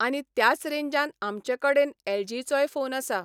आनी त्याच रेंजान आमचे कडेन एलजीचोय फोन आसा.